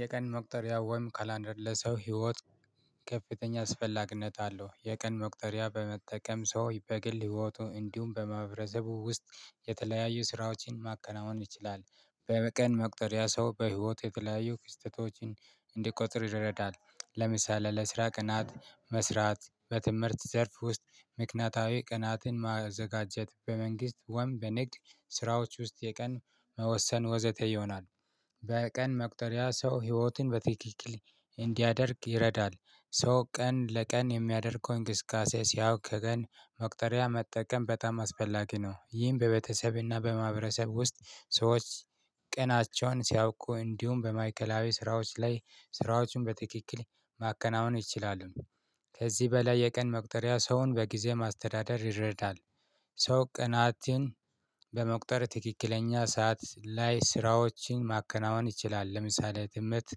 የቀን መቁጠሪያ ወይም ካላንደር ለሰው ህይወት ከፍተኛ አስፈላግነት አለው። የቀን መቁጠሪያ በመጠቀም ሰው በግል ህይወቱ እንዲሁም በማህበረሰቡ ውስጥ የተለያዩ ስራዎችን ማከናወን ይችላል። በቀን መቁጠሪያ ሰው በህይወቱ የተለያዩ ክስተቶችን እንዲቆጥር ይረዳል። ለምሳሌ ለስራ ቅናት መስራት በትምህርት ዘርፍ ውስጥ ምክንያታዊ ቅናትን ማዘጋጀት በመንግስት ወይም በንግድ ስራዎች ውስጥ የቀን መወሰን ወዘተ ይሆናል። በቀን መቁጠሪያ ሰው ህይወትን በትክክል እንዲያደርግ ይረዳል። ሰው ቀን ለቀን የሚያደርገው እንቅስቃሴ ሲያውቅ ቀን መቁጠሪያ መጠቀም በጣም አስፈላጊ ነው። ይህም በቤተሰብና በማህበረሰብ ውስጥ ሰዎች ቀናቸውን ሲያውቁ እንዲሁም በማእከላዊ ስራዎች ላይ ስራዎቹን በትክክል ማከናወን ይችላሉ። ከዚህ በላይ የቀን መቅጠሪያ ሰውን በጊዜ ማስተዳደር ይረዳል። ሰው ቀናትን በመቁጠር ትክክለኛ ሰዓት ላይ ስራዎችን ማከናወን ይችላል ለምሳሌ ትምህርት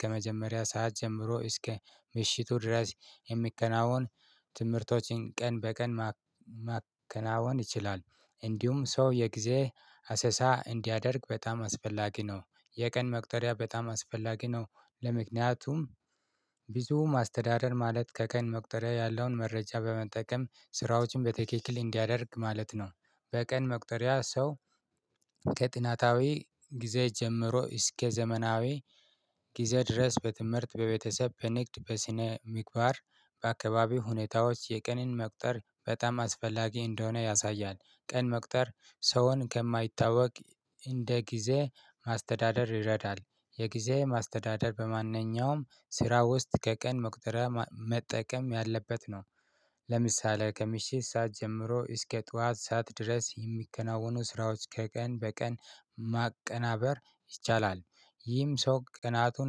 ከመጀመሪያ ሰዓት ጀምሮ እስከ ምሽቱ ድረስ የሚከናወን። ቀን በቀን ማከናወን ይችላል። እንዲሁም ሰው የጊዜ አሰሳ እንዲያደርግ በጣም አስፈላጊ ነው። የቀን መቅጠሪያ በጣም አስፈላጊ ነው። ምክንያቱም ማስተዳደር ማለት ከቀን መቁጠሪያ ያለውን መረጃ በመጠቀም ስራዎችን በትክክል እንዲያደርግ ማለት ነው። በቀን መቁጠሪያ ሰው ከጥናታዊ ጊዜ ጀምሮ እስከ ዘመናዊ ጊዜ ድረስ በትምህርት በቤተሰብ በንግድ በስነ ምግባር በአካባቢው ሁኔታዎች የቀንን መቁጠር በጣም አስፈላጊ እንደሆነ ያሳያል። ቀን መቁጠር ሰውን ከማይታወቅ እንደ ጊዜ ማስተዳደር ይረዳል። የጊዜ ማስተዳደር በማንኛውም ስራ ውስጥ ከቀን መቁጠሪያ መጠቀም ያለበት ነው። ለምሳሌ ከምሽት ሰዓት ጀምሮ እስከ ጠዋት ሰዓት ድረስ የሚከናወኑ ስራዎች ከቀን በቀን ማቀናበር ይቻላል። ይህም ሰው ቀናቱን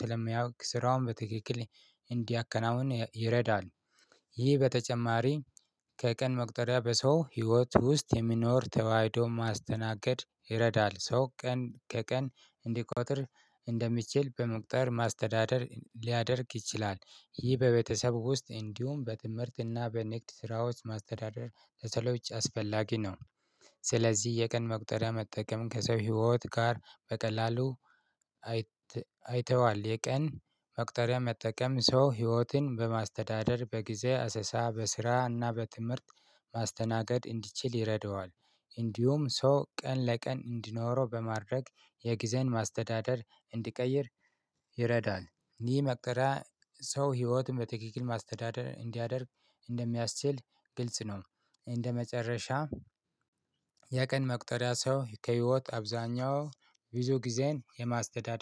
ስለሚያውቅ ስራውን በትክክል እንዲያከናውን ይረዳል። ይህ ከቀን መቁጠሪያ በሰው ህይወት ውስጥ የሚኖር ተዋህዶ ማስተናገድ ይረዳል ሰው ቀን ከቀን እንዲቆጥር እንደሚችል በመቁጠር ማስተዳደር ሊያደርግ ይችላል። ይህ በቤተሰብ ውስጥ እንዲሁም በትምህርትና በንግድ ስራዎች ማስተዳደር ለሰዎች አስፈላጊ ነው። ስለዚህ የቀን መቁጠሪያ መጠቀም ከሰው ህይወት ጋር በቀላሉ። አይተዋል የቀን መቅጠሪያ መጠቀም ሰው ህይወትን በማስተዳደር በጊዜ አሰሳ በስራና በትምህርት ማስተናገድ እንዲችል ይረዳዋል። እንዲሁም ሰው ቀን ለቀን እንዲኖረው በማድረግ የጊዜን ማስተዳደር እንዲቀይር ይረዳል። ይህ መቁጠሪያ ሰው ህይወቱን በትክክል ማስተዳደር እንዲያደርግ እንደሚያስችል ግልጽ ነው። እንደመጨረሻ የቀን መቁጠሪያ ሰው ከህይወት አብዛኛው ብዙ ጊዜን የማስተዳደር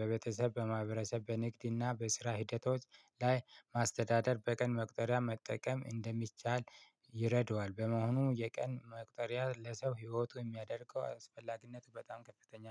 በቤተሰብ በማህበረሰብ በንግድና በስራ ሂደቶች ላይ ማስተዳደር በቀን መቁጠሪያ መጠቀም እንደሚቻል ይረዳዋል። በመሆኑ የቀን መቅጠሪያ ለሰው ህይወቱ የሚያደርገው አስፈላጊነቱ በጣም ከፍተኛ